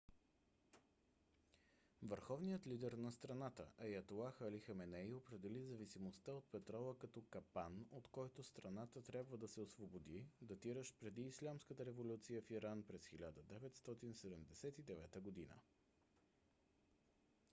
върховният лидер на страната аятолах али хаменей определи зависимостта от петрола като капан от който страната трябва да се освободи датиращ преди ислямската революция в иран през 1979 г